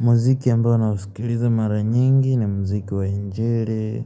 Muziki yambao na usikiliza mara nyingi ni mziki wa injiri